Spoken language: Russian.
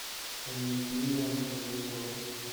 людмила вавилова